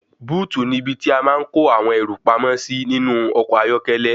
Búùtì ní ibi tí a máa ń kó àwọn ẹrù pamó sí ní inú ọkọ̀ ayọ́kẹ́lẹ́.